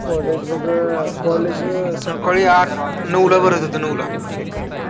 College बघ college सकाळी आठ, नऊला भरत होतं नऊला.